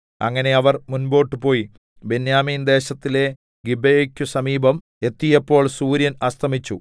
അങ്ങനെ അവർ മുമ്പോട്ടു പോയി ബെന്യാമീൻദേശത്തിലെ ഗിബെയെക്കു സമീപം എത്തിയപ്പോൾ സൂര്യൻ അസ്തമിച്ചു